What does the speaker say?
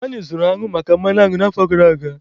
Anyị zụrụ añụ maka mmanụ añụ n'afọ gara aga